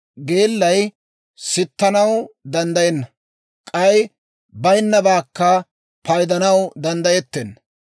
Geellay sittanaw danddayenna; k'ay bayinnabaakka paydanaw danddayettenna.